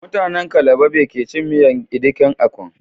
Mutanen calabar be kecin miyan edikan ikong